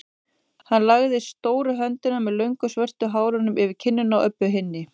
Hann lagði stóru höndina með löngu svörtu hárunum yfir kinnina á Öbbu hinni.